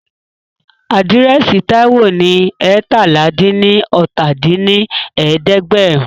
Àdírẹ́sì Táíwò ní eétalá-dín-ní-ọ́ta dín ní ẹ̀ẹ́dẹ́gbẹ́rún